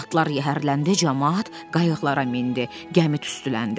Atlar yəhərləndi, camaat qayıqlara mindi, gəmi tüstüləndi.